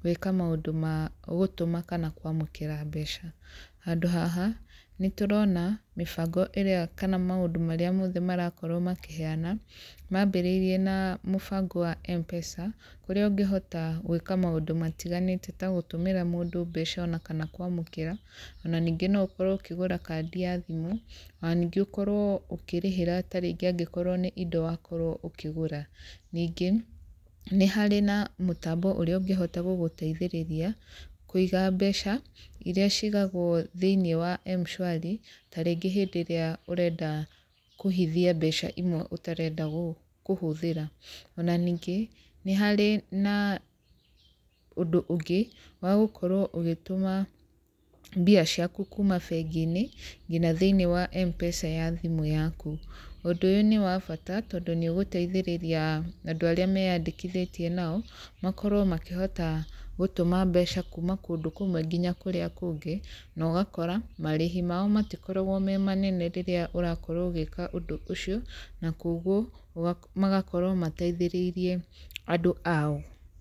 gwĩka maũndũ ma gũtũma kana kwamũkĩra mbeca. Handũ haha, nĩ tũrona mĩbango ĩrĩa kana mũndũ marĩa mothe marakorwo makĩheana, mambĩrĩirie na mũbango wa Mpesa, kũrĩa ũngĩhota gwĩka maũndũ matiganĩte ta gũtũmĩra mũndũ mbeca ona kana kwamũkĩra, ona ningĩ no ũkorwo ũkĩgũra kandi ya thimũ, ona ningĩ ũkorwo ũkĩrĩhĩra ta rĩngĩ angĩkorwo nĩ indo wakorwo ũkĩgũra, ningĩ nĩ harĩ na mũtambo ũrĩa ũngĩhota gũgũteithĩrĩria kũiga mbeca iria cigagwo thĩinĩ wa Mshwari, ta rĩngĩ hĩndĩ ĩrĩa ũrenda kũhithia mbeca imwe ũtarenda kũhũthĩra, ona ningĩ nĩ harĩ na ũndũ ũngĩ, wagũkorwo ũgĩtũma mbia ciaku kuuma bengi-inĩ nginya thĩinĩ wa Mpesa ya thimũ yaku, ũndũ ũyũ nĩ wa bata, tondũ nĩ ũgũteithĩrĩria andũ arĩa meyandĩkithĩtie nao, makorwo makĩhota gũtũma mbeca kuuma kũndũ kũmwe nginya kũrĩa kũngĩ, na ũgakora, marĩhi mao matikoragwo me manene rĩrĩa ũrakorwo ũgĩka ũndũ ũcio, na koguo magakorwo mateithĩrĩirie andũ ao.